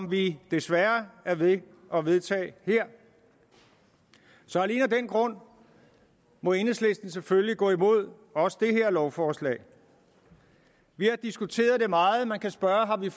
vi desværre er ved at vedtage her så alene af den grund må enhedslisten selvfølgelig gå imod også det her lovforslag vi har diskuteret det meget man kan spørge om vi